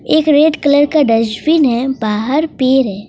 एक red colour का dustbin है बाहर पेड़ है।